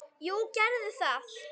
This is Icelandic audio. Jú, gerðu það